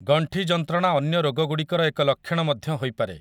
ଗଣ୍ଠି ଯନ୍ତ୍ରଣା ଅନ୍ୟ ରୋଗଗୁଡ଼ିକର ଏକ ଲକ୍ଷଣ ମଧ୍ୟ ହୋଇପାରେ ।